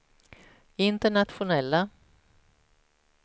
internationella